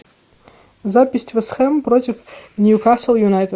запись вест хэм против ньюкасл юнайтед